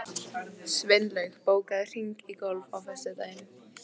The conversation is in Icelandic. Sveinlaug, bókaðu hring í golf á föstudaginn.